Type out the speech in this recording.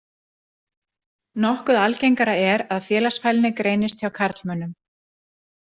Nokkuð algengara er að félagsfælni greinist hjá karlmönnum.